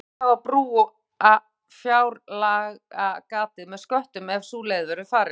Hvernig á þá að brúa fjárlagagatið með sköttum ef sú leið verður farin?